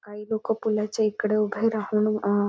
काही लोक पुलाच्या इकडे उभे राहून अअ --